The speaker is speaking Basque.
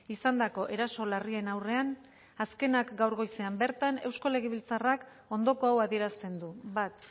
izandako eraso larrien aurrean azkenak gaur goizean bertan eusko legebiltzarrak ondoko hau adierazten du bat